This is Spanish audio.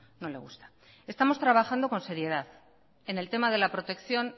no le gusta estamos trabajando con seriedad en el tema de la protección